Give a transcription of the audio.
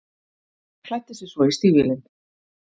Klæddi sig svo í stígvélin.